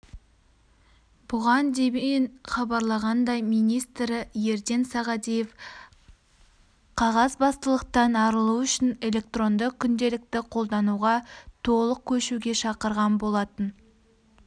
бұған дейін хабарланғандай министрі ердан сағадиев қағазбастылықтан арылу үшін электронды күнделікті қолдануға толық көшуге шақырған болатын